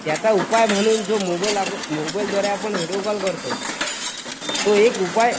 त्याचा उपाय म्हणून जो मोबाईल आपण मोबाईल द्वारे व्हिडीओ कॉल करतो तो एक उपाय.